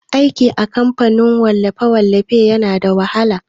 Aiki a kamfanin wallafe-wallafe yana da wahala.